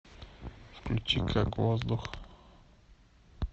включи как воздух